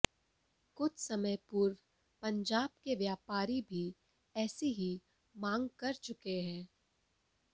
कुछ समय पूर्व पंजाब के व्यापारी भी ऐसी ही मांग कर चुके हैं